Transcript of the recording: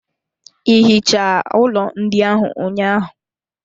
Ị hichaa ụlọ ndị ahụ ụnyaahụ?